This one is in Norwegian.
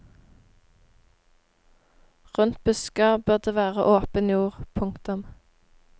Rundt busker bør det være åpen jord. punktum